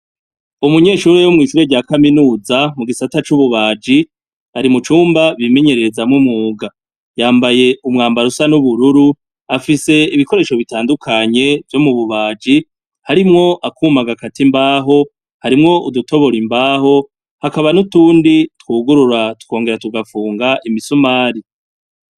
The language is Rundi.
umunyeshuri yo mwishure rya kaminuza mu gisata c'ububaji ari mu cumba bimenyerereza m'umwuga yambaye umwambaro usa n'ubururu afise ibikoresho bitandukanye vyo mu bubaji harimwo akuma gakata imbaho harimwo udutobora imbaho hakaba n'utundi twugurura twongera tugafunga imisumari